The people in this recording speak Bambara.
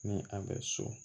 Ni a bɛ so